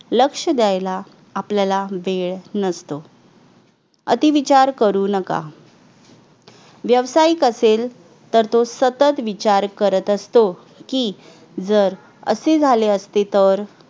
लक्ष द्यायला आपल्याला वेळ नसतो अति विचार करू नका व्यवसायिक असेल तर तो सतत विचार करत असतो की जर असे झाले असते तर